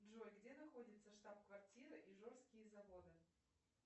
джой где находится штаб квартира ижорские заводы